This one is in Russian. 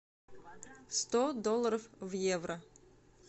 сто долларов в евро